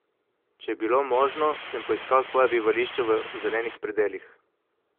Če je bilo možno, sem poiskal svoja bivališča v zelenih predelih.